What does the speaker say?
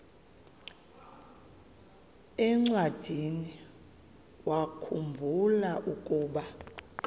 encwadiniwakhu mbula ukuba